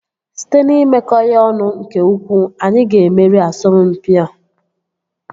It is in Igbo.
Site n'imekọ ya ọnụ nke ukwuu, anyị ga-emeri asọmpi a